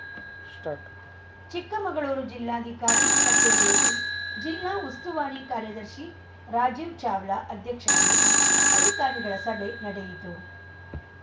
start Chikkamagaluru ಜಿಲ್ಲಾಧಿಕಾರಿ ಕಚೇರಿಯಲ್ಲಿ ಜಿಲ್ಲಾ ಉಸ್ತುವಾರಿ ಕಾರ್ಯದರ್ಶಿ ರಾಜೀವ್‌ ಚಾವ್ಲಾ ಅಧ್ಯಕ್ಷತೆಯಲ್ಲಿ ಅಧಿಕಾರಿಗಳ ಸಭೆ ನಡೆಯಿತು